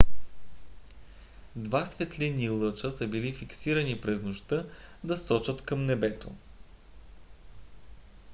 два светлинни лъча са били фиксирани за през нощта да сочат към небето